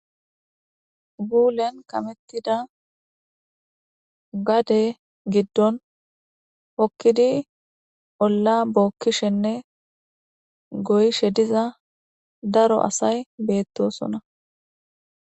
Gullen kamettida gadde giddon hookidi oolla bokishenne goyishe diza daro asay bettossonna